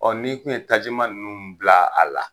Ɔ ni kun ye tajiman ninnu bila a la